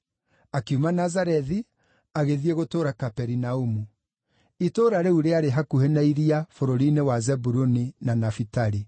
Akiuma Nazarethi, agĩthiĩ gũtũũra Kaperinaumu. Itũũra rĩu rĩarĩ hakuhĩ na iria, bũrũri-inĩ wa Zebuluni na Nafitali.